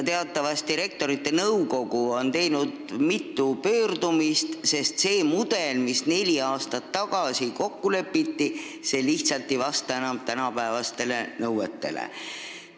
Teatavasti on Rektorite Nõukogu teinud mitu pöördumist, sest see mudel, mis neli aastat tagasi kokku lepiti, lihtsalt ei vasta enam tänapäevastele nõuetele.